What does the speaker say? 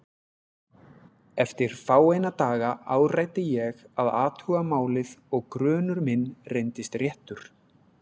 Eftir fáeina daga áræddi ég að athuga málið og grunur minn reyndist réttur.